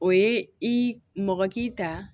O ye i mɔgɔ k'i ta